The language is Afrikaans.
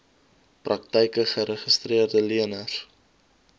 praktyke geregistreede leners